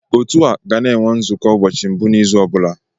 Otu a ga na-enwe nzukọ ụbọchị mbụ n'izu ọ bụla